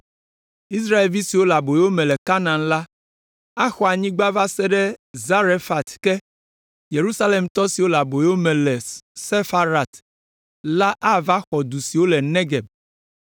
Israelvi siwo le aboyo me le Kanaan la axɔ anyigba va se ɖe Zarefat ke; Yerusalemtɔ siwo le aboyo me le Sefarat la ava xɔ du siwo le Negeb.